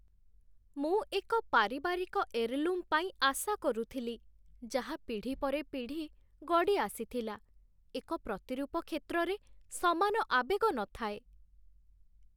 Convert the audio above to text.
ମୁଁ ଏକ ପାରିବାରିକ ଏର୍‌ଲୁମ୍ ପାଇଁ ଆଶା କରୁଥିଲି, ଯାହା ପିଢ଼ି ପରେ ପିଢ଼ି ଗଡ଼ିଆସିଥିଲା। ଏକ ପ୍ରତିରୂପ କ୍ଷେତ୍ରରେ ସମାନ ଆବେଗ ନଥାଏ